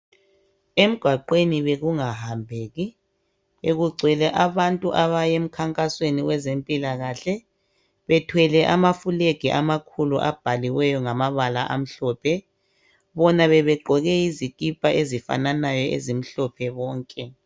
Emgwaqweni bekungahambeki, bekugcwele abantu abaye emkhankasweni wezempilakahle. Bebethwele amafulegi amakhulu abhaliweyo ngamabala amhlophe. Bona bebegqoke izikipa ezifananayo ezimhlophe bonke.